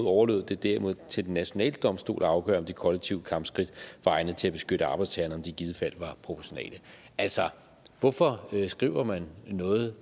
overlod det derimod til den nationale domstol at afgøre om de kollektive kampskridt var egnede til at beskytte arbejdstagerne og om de i givet fald var proportionale altså hvorfor skriver man noget